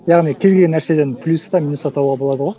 яғни келген нәрседен плюс та минус та табуға болады ғой